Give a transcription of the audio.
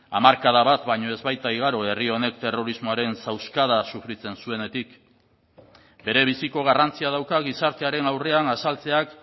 hamarkada bat baino ez baita igaro herri honek terrorismoaren zauskada sufritzen zuenetik berebiziko garrantzia dauka gizartearen aurrean azaltzeak